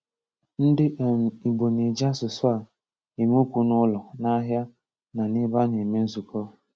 Ndị um Ìgbò na-eji áṣụ̀sụ̀ a eme okwu n’ụlọ, n’ahịa, na n’ebe a na-eme nzukọ.